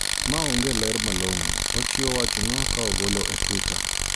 Maonge ler malong`o ochiwo wachno ka ogolo e twitter